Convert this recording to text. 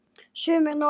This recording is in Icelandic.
Sumir nota